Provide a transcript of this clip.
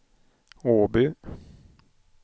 Åby